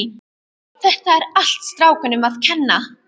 Þetta er allt strákunum að kenna.